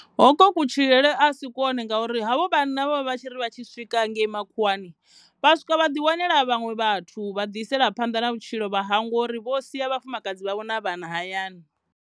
Hokwo ku tshilele a si kwone ngauri havho vhanna vha vha tshiri vha tshi swika hangei makhuwani vha swika vha ḓi wanela vhaṅwe vhathu vha ḓi isela phanḓa na vhutshilo vha hangwa uri vho sia vhafumakadzi vhavho na vhana hayani.